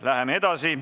Läheme edasi.